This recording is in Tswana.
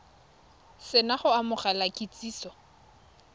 se na go amogela kitsiso